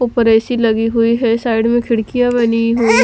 उपर ऐ_सी लगी हुई है साइड में खिड़किया बनी हुई है।